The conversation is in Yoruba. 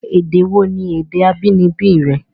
Èdè wò ní èdè abínibí rẹ?